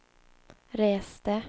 reste